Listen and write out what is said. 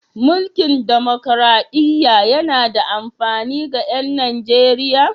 Mulkin demokraɗiyya yana da amfani ga 'yan Nijeriya?